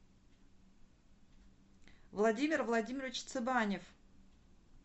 владимир владимирович цыбанев